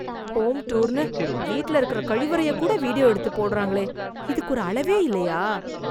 home டூர்னு, வீட்ல இருக்கற கழிவறையக் கூட வீடியோ எடுத்து போடறாங்களே... இதுக்கு ஒரு அளவே இல்லயா...